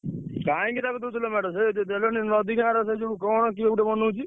କାହିଁକି ତାକୁ ଦଉଥିଲ ମେଢ ସେ ଦେଲନି ନଦି ଗାଁର ସେ ଯୋଉ କଣ କିଏ ଗୋଟେ ବନଉଛି?